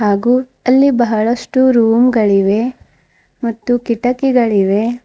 ಹಾಗೂ ಅಲ್ಲಿ ಬಹಳಷ್ಟು ರೂಮ್ ಗಳಿವೆ ಮತ್ತು ಕಿಟಕಿಗಳಿವೆ.